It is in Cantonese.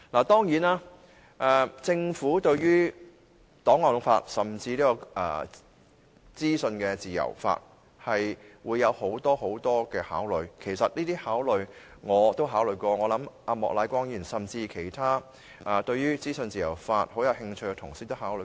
當然，政府對於檔案法和資訊自由法會有很多考慮，其實這些考慮我也考慮過，我相信莫乃光議員和其他對於資訊自由法很有興趣的同事也考慮過。